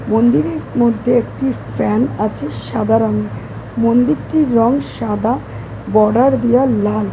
মন্দিরের মধ্যে একটি ফ্যান আছে সাদা রঙের মন্দিরটির রং সাদা বর্ডার দেওয়া লাল --